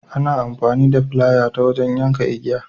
Ana amfani da flaya ta wajen yakan igiya.